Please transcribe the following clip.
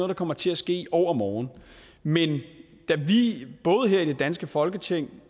der kommer til at ske i overmorgen men da vi både her i det danske folketing og